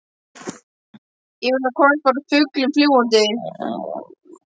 Yfir þá komst bara fuglinn fljúgandi.